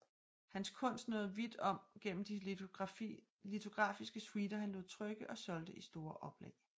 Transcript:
Hans kunst nåede vidt om gennem de litografiske suiter han lod trykke og solgte i store oplag